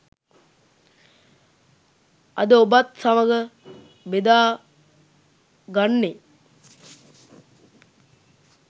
අද ඔබත් සමග බෙදා ගන්නේ.